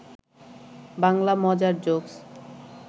বাংলা মজার জোকস